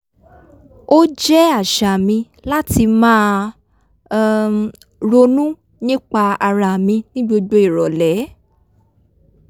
o jẹ́ àṣà mi láti máa um ronú nípa ara mi ní gbogbo ìrọ̀lẹ́